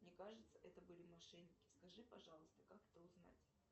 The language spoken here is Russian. мне кажется это были мошенники скажи пожалуйста как это узнать